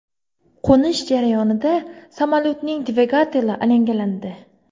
Qo‘nish jarayonida samolyotning dvigateli alangalandi.